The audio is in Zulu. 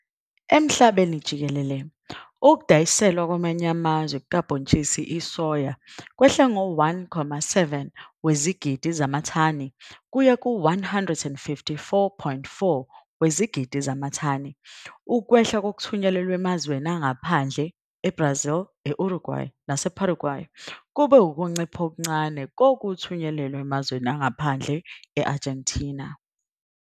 Emhlabeni jikelele ukudayiselwa kwamanyenye amazwe kukabhontshisi isoya kwehle ngo-1,7 wezigidi zamathani kuya ku-154,4 wezigidi zamathani. Ukwehla kokuthunyelwa emazweni angaphandle e-Brazil, e-Uruguay nase-Paraguay kube ukuncipha okuncane kokuthunyelwa emazweni angaphandle e-Argentina.